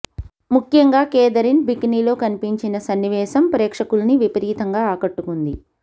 ముఖ్యంగా కేథరిన్ బికినీలో కనిపించిన సన్నివేశం ప్రేక్షకుల్ని విపరీతంగా ఆకట్టుకుంది